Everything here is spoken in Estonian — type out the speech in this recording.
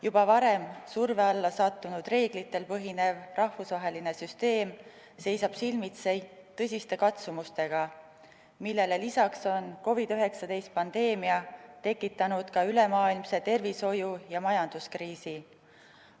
Juba varem surve alla sattunud reeglitel põhinev rahvusvaheline süsteem seisab silmitsi tõsiste katsumustega, millele lisaks on COVID-19 pandeemia tekitanud ülemaailmse tervishoiu- ja majanduskriisi.